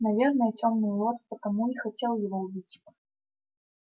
наверное тёмный лорд потому и хотел его убить